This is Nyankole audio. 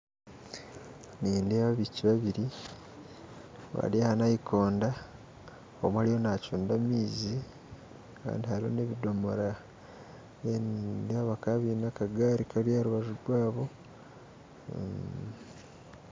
Nindeeba abaishiki babiri bari aha nayikondo omwe ariyo nacunda amaizi kandi hariho n'ebidomora then nindeeba bakaba baine akagari Kari aharubaju rwabo